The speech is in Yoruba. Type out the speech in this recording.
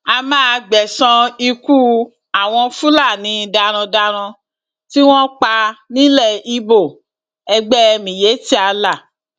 a máa gbẹsan ikú àwọn fúlàní darandaran tí wọn pa nílẹ ibo ẹgbẹ miyetti allah